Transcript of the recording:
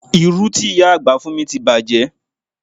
Irú ti ìyá àgbà fún mi ti bàjé